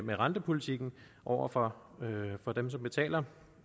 med rentepolitikken over for dem som betaler